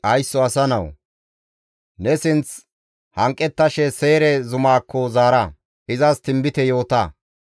«Haysso asa nawu! Ne sinth hanqettashe Seyre zumaakko zaara; izas tinbite yoota.